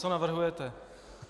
Co navrhujete?